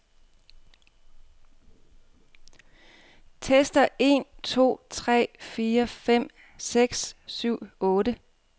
Tester en to tre fire fem seks syv otte.